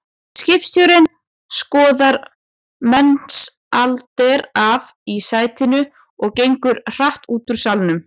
Skipstjórinn skorðar Mensalder af í sætinu og gengur hratt út úr salnum.